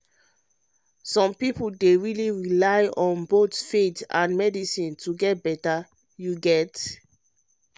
some people dey really rely on both faith and medicine to get better you get?